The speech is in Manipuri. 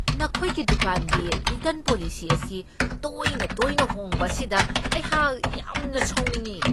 ꯅꯈꯣꯏꯒꯤ ꯗꯨꯀꯥꯟꯒꯤ ꯔꯤꯇꯔ꯭ꯟ ꯄꯣꯂꯤꯁꯤ ꯑꯁꯤ ꯇꯣꯏꯅ ꯇꯣꯏꯅ ꯍꯣꯡꯕ ꯑꯁꯤꯗ ꯑꯩꯍꯥꯛ ꯌꯥꯝꯅ ꯁꯥꯎꯅꯤꯡꯢ꯫